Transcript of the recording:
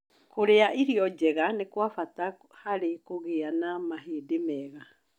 Kũrĩa irio njega nĩ kwa bata harĩ kũgĩa na mahĩndĩ mega